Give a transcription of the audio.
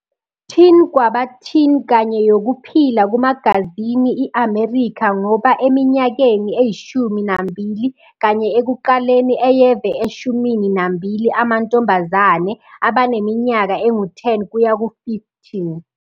Teen kwaba teen kanye yokuphila kumagazini i-American ngoba eminyakeni eyishumi nambili kanye ekuqaleni eyeve eshumini nambili amantombazane, abaneminyaka engu-10 kuya ku-15.